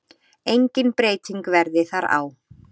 Engin breyting verði þar á.